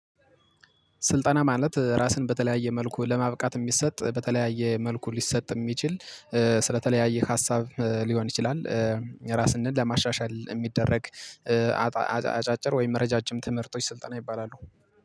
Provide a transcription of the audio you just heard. ስልጠና ማለት ራስን በተለያየ መልኩ ለማብቃት የሚሰጥ በተለያየ መልኩ ሊሰጥ የሚችል ስለተለያየ ሀሳብ ሊሆን ይችላል። ራስን ለማሻሻል የሚደረግ። አጫጭር ወይም ረጃጅም ትምህርቶች ስልጠና ይባላሉ።